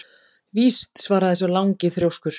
Víst svaraði sá langi þrjóskur.